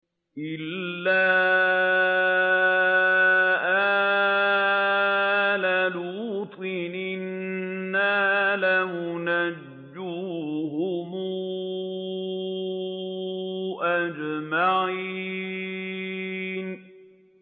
إِلَّا آلَ لُوطٍ إِنَّا لَمُنَجُّوهُمْ أَجْمَعِينَ